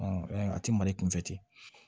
a tɛ mali kunfɛ ten